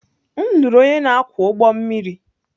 M lụrụ onye na-akwọ ụgbọ mmiri.